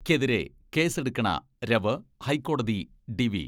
ക്കെതിരെ കേസ്സെടുക്കണ രവ് ഹൈക്കോടതി ഡിവി